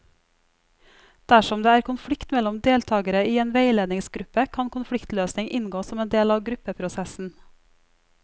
Dersom det er konflikt mellom deltakere i en veiledningsgruppe, kan konfliktløsning inngå som en del av gruppeprosessen.